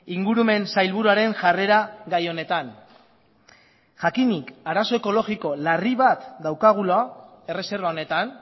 ingurumen sailburuaren jarrera gai honetan jakinik arazo ekologiko larri bat daukagula erreserba honetan